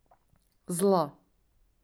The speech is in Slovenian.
Zla.